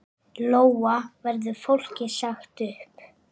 Lóa: Verður fólki sagt upp?